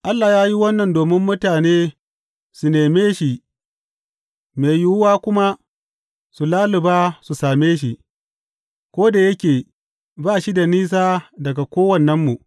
Allah ya yi wannan domin mutane su neme shi mai yiwuwa kuma su lalluba su same shi, ko da yake ba shi da nisa daga kowannenmu.